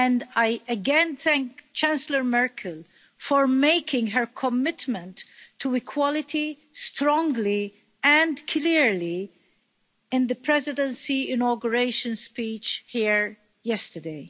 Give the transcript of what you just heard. I again thank Chancellor Merkel for making her commitment to equality, strongly and clearly in the Presidency inauguration speech here yesterday.